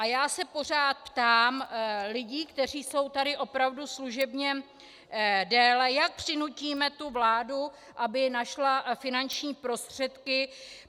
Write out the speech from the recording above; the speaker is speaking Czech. A já se pořád ptám lidí, kteří jsou tady opravdu služebně déle, jak přinutíme tu vládu, aby našla finanční prostředky.